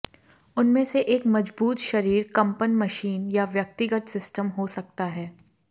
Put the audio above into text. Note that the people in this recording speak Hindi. उनमें से एक मजबूत शरीर कंपन मशीन या व्यक्तिगत सिस्टम हो सकता है